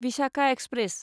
Visakha express